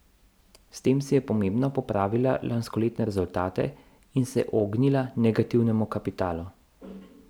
S tem si je pomembno popravila lanskoletne rezultate in se ognila negativnemu kapitalu.